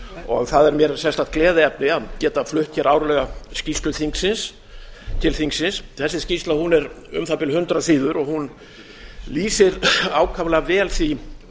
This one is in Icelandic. og það er mér sérstakt gleðiefni að geta flutt hér árlega skýrslu til þingsins þessi skýrsla er um það bil hundrað síður og lýsir ákaflega vel því